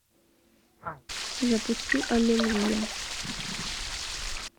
запусти аллилуйя